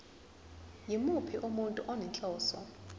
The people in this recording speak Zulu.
yimuphi umuntu onenhloso